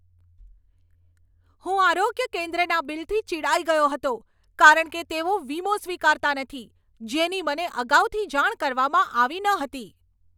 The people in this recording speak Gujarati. હું આરોગ્ય કેન્દ્રના બિલથી ચિડાઈ ગયો હતો કારણ કે તેઓ વીમો સ્વીકારતા નથી, જેની મને અગાઉથી જાણ કરવામાં આવી ન હતી.